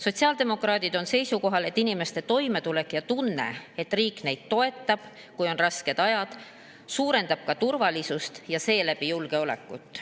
Sotsiaaldemokraadid on seisukohal, et inimeste toimetulek ja tunne, et riik neid toetab, kui on rasked ajad, suurendab ka turvalisust ja seeläbi julgeolekut.